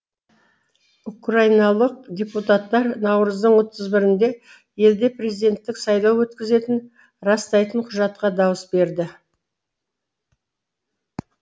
украиналық депутаттар наурыздың отыз бірінде елде президенттік сайлау өткізетінін растайтын құжатқа дауыс берді